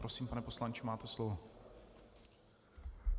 Prosím, pane poslanče, máte slovo.